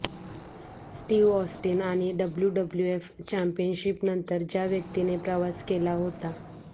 Steve Austin आणि W W F championship नंतर ज्या व्यक्तीने प्रवास केला होता